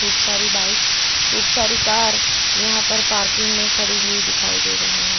खूब सारी बाइक खूब सारी कार यहां पर पार्किंग मे खड़ी हुई दिखाई दे रही है।